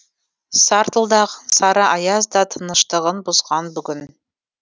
сартылдаған сары аяз да тыныштығын бұзған бүгін